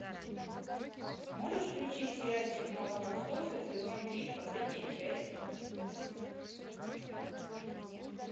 можешь включить сериальчик молокососы сезон три последняя часть